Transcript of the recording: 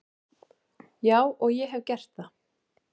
Já og ég hef gert það.